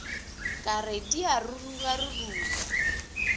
ka re di a rurugaruruga